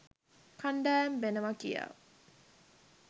කණ්ඩායම් වෙනවා කියා.